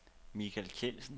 Michael Kjeldsen